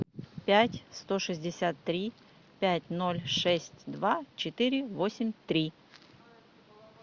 пять сто шестьдесят три пять ноль шесть два четыре восемь три